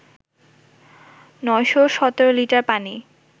৯১৭ litre পানি